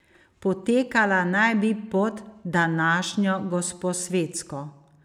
Potekala naj bi pod današnjo Gosposvetsko.